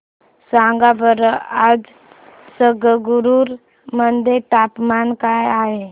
सांगा बरं आज संगरुर मध्ये तापमान काय आहे